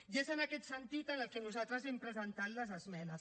i és en aquest sentit en el que nosaltres hem presentat les esmenes